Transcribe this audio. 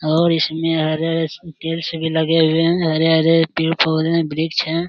और इसमें हरे-हरे स पेड़ से भी लगे हुए हैं हरे-हरे पेड़ है वृक्ष है।